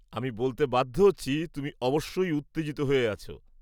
আমি বলতে বাধ্য হচ্ছি, তুমি অবশ্যই উত্তেজিত হয়ে আছো।